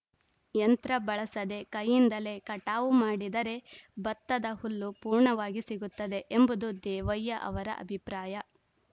ಯಂತ್ರ ಬಳಸದೆ ಕೈಯಿಂದಲೇ ಕಟಾವು ಮಾಡಿದರೆ ಬತ್ತದ ಹುಲ್ಲು ಪೂರ್ಣವಾಗಿ ಸಿಗುತ್ತದೆ ಎಂಬುದು ದೇವಯ್ಯ ಅವರ ಅಭಿಪ್ರಾಯ